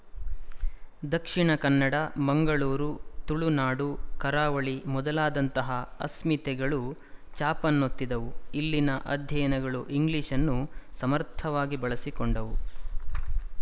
ದಕ್ಶಿಣ ಕನ್ನಡ ಮಂಗಳೂರು ತುಳುನಾಡು ಕರಾವಳಿ ಮೊದಲಾದಂತಹ ಅಸ್ಮಿತೆಗಳು ಛಾಪನ್ನೊತ್ತಿದವು ಇಲ್ಲಿನ ಅಧ್ಯಯನಗಳು ಇಂಗ್ಲಿಶ್‌ನ್ನು ಸಮರ್ಥವಾಗಿ ಬಳಸಿಕೊಂಡವು